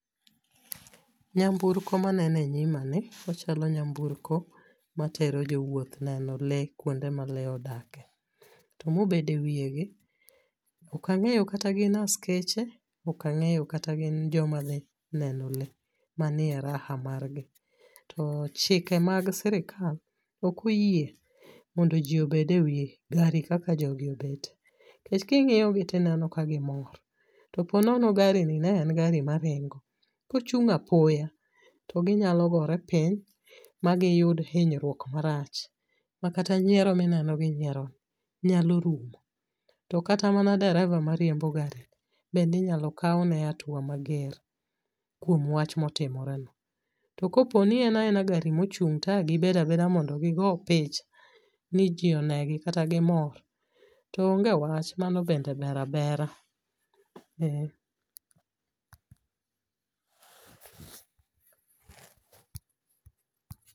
Nyamburko maneno e nyimani ochalo nyamburko matero jowuoth neno lee kuonde ma lee odake. To mobede wiyegi okang'eyo kata gin askeche okang'eyo kata gin joma dhi neno lee manie raha margi. To chike mag sirikal okoyie mondo ji obed e wi gari kaka jogi obet nkech king'iyogi tineno ka gimor, to ponono garini ne en gari maringo, kochung' apoya to ginyalo gore piny magiyud hinyruok marach makata nyiero mineno ginyierono nyalo rumo to kata mana dereva mariembo garino bende inyalo kawne atua mager kuom wach motimoreno. To koponi en aena gari mochung' to agibedo abeda mondo gigo picha ni ji onegi kata gimor to onge wach mano bende ber abera, eh.